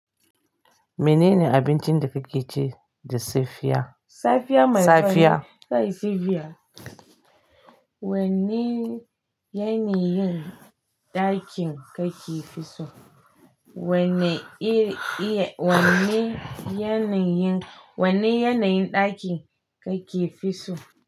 Menene abincin da kake ci da safiya? Safiya mai tsari. Safiya. Wanne yanayin ɗakin kake fi so? Wanne iri iye, wanne yanayin, wanne yanayin ɗakin kake fi so?